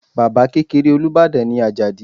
Baba kekere Olubadan ni Ajadi